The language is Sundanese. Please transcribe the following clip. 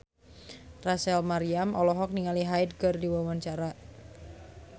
Rachel Maryam olohok ningali Hyde keur diwawancara